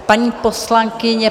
Paní poslankyně...